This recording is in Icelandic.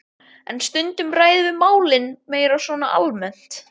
En stundum ræðum við málin meira svona almennt.